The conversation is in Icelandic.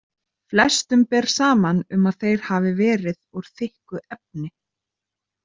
Flestum ber saman um að þeir hafi verið úr þykku efni.